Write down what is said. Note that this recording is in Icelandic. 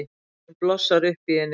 Afbrýðisemin blossar upp í henni.